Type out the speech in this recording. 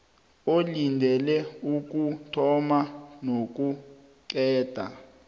olindele ukuthoma nokuqeda